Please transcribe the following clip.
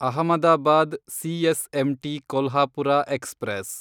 Ahmedabad CSMT Kolhapur express